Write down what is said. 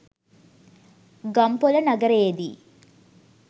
Gampola නගරයේදී